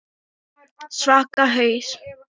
Svaka haus.